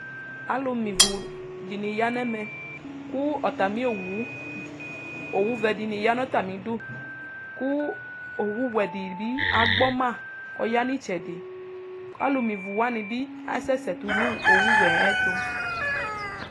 alo me ivu di ni ya n'ɛmɛ kò atami owu owu vɛ di ya n'atami du kò owu wɛ di bi agbɔma k'ɔya n'itsɛdi k'alo me ivu wani bi asɛ sɛ to no owu wɛ ayɛto